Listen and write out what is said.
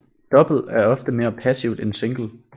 Double er ofte mere passivt end single